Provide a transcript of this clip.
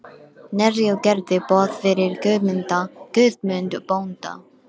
Knerri og gerði boð fyrir Guðmund bónda.